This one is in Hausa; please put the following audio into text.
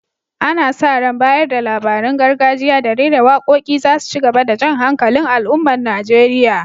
Ana sa ran bayar da labarun gargajiya da rera waƙoƙi za su ci gaba da jan hankalin al’ummar Najeriya.